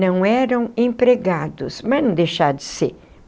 Não eram empregados, mas não deixaram de ser.